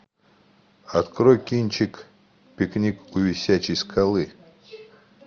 открой кинчик пикник у висячей скалы